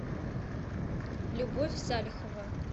любовь салихова